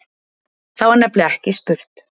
Þar var nefnilega ekki spurt